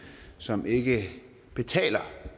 som ikke betaler